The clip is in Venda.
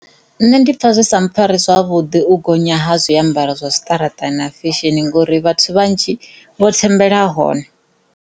Nṋe ndi pfha zwi sa mpfhari zwavhuḓi u gonya ha zwiambaro zwa tshiṱaraṱani na fesheni ngauri vhathu vhanzhi vha thembela hone.